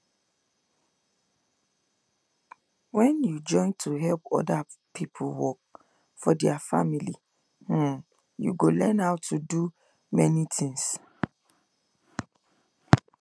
when you join to help other people work for their farm um you go learn how to do many things